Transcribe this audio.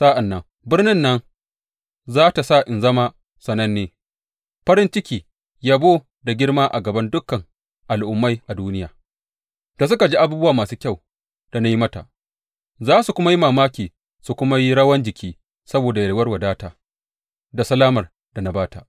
Sa’an nan birnin nan za tă sa in zama sananne, farin ciki, yabo da girma a gaban dukan al’ummai a duniya da suka ji abubuwa masu kyau da na yi mata; za su kuma yi mamaki su kuma yi rawan jiki saboda yalwar wadata da salamar da na ba ta.’